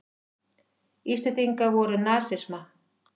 Íslendingar voru nasisma.